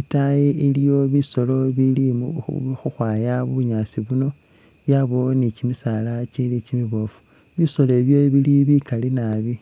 itaayi iliyo bisoolo bili khukhwaaya bunyaasi buno yabaawo ni kyimisaala kyili kyimiboofu bisoolo bi bili bikaali naabi.